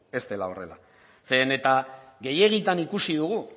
ez dela horrela zeren eta gehiegitan ikusi dugu